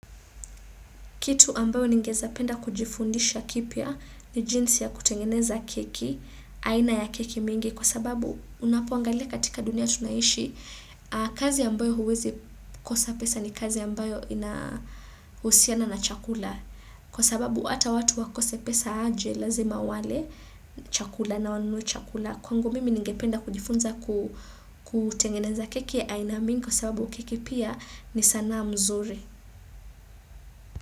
Kitu ambayo ningezapenda kujifundisha kipya ni jinsi ya kutengeneza keki, aina ya keki mingi kwasababu unapoangalia katika dunia tunaishi, kazi ambayo huwezi kosa pesa ni kazi ambayo inahusiana na chakula. Kwa sababu hata watu wakose pesa aje lazima wale chakula na wanunue chakula, kwangu mimi ningependa kujifunza kutengeneza keki ya aina mingi kwasababu keki pia ni sana mzuri.